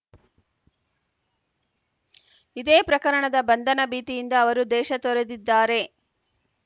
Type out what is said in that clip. ಇದೇ ಪ್ರಕರಣದ ಬಂಧನ ಭೀತಿಯಿಂದ ಅವರು ದೇಶ ತೊರೆದಿದ್ದಾರೆ